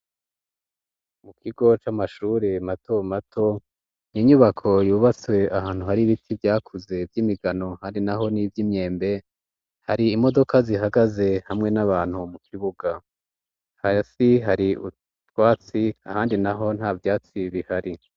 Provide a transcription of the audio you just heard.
Mu kigo c'amashure mato mato ninyubako yubatswe ahantu hari ibiti vyakuze vy'imigano hari na ho n'ivyo imyembe hari imodoka zihagaze hamwe n'abantu mu kibuga ha si hari utwatsi ahandi na ho nta vyatsi ibihari.